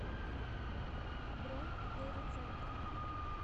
бронь двери центр